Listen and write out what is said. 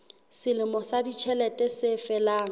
selemo sa ditjhelete se felang